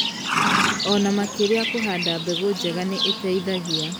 Ona makĩria kũhanda mbegũ njega nĩ iteithagia